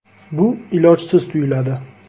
Bu ilojsiz tuyuladi.